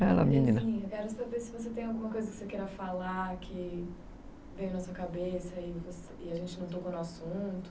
Quero saber se você tem alguma coisa que você queira falar que veio na sua cabeça e a gente não tocou no assunto.